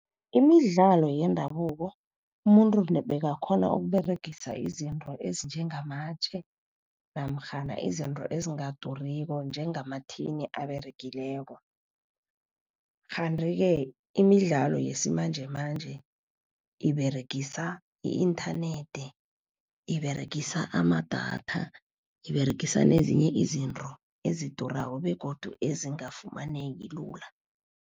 Imidlalo yendabuko, umuntu bekakghona ukUberegisa izinto ezinjengamatje namkhana izinto ezingaduriko njengamathini aberegileko. Kanti-ke imidlalo yesimanjemanje iberegisa i-inthanethi, iberegisa amadatha, iberegisa nezinye izinto ezidurako begodu ezingafumaneki lula.